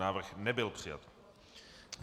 Návrh nebyl přijat.